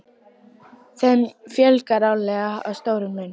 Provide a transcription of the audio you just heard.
Þeim fjölgar árlega að stórum mun.